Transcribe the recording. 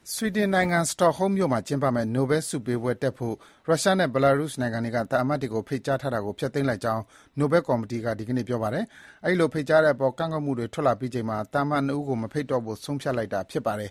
ဆွီဒင်နိုင်ငံ၊ စတော့ဟုမ်းမြို့မှာ ကျင်းပမယ့် နိုဘဲလ်ဆုပေးပွဲတက်ဖို့ ရုရှားနဲ့ Belarus နိုင်ငံတွေက သံအမတ်တွေကို ဖိတ်ကြားထားတာကို ဖျက်သိမ်းလိုက်ကြောင်း နိုဘဲလ်ကော်မီတီက ဒီကနေ့ ပြောပါတယ်။ အဲဒီလို ဖိတ်ကြားတဲ့အပေါ် ကန့်ကွက်မှုတွေ ထွက်လာအပြီးမှာ သံအမတ် ၂ ဦးကို မဖိတ်တော့ဖို့ ဆုံးဖြတ်လိုက်တာ ဖြစ်ပါတယ်